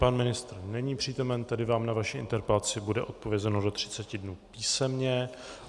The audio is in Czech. Pan ministr není přítomen, tedy vám na vaši interpelaci bude odpovězeno do 30 dnů písemně.